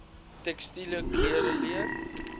tekstiele klere leer